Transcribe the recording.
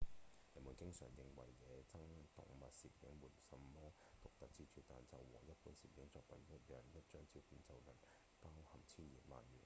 人們經常認為野生動物攝影沒什麼獨特之處但就和一般攝影作品一樣一張照片就能包含千言萬語